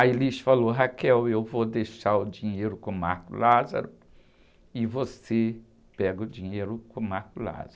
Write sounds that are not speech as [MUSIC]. A Elis falou, [UNINTELLIGIBLE] eu vou deixar o dinheiro com o [UNINTELLIGIBLE] e você pega o dinheiro com o. [UNINTELLIGIBLE]